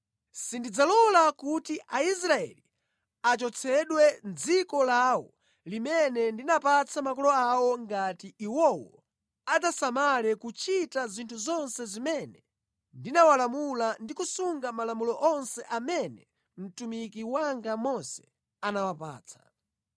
Sindidzalola kuti Aisraeli achotsedwe mʼdziko lawo limene ndinapatsa makolo awo ngati iwowo adzasamala kuchita zinthu zonse zimene ndinawalamula ndi kusunga malamulo onse amene mtumiki wanga Mose anawapatsa.”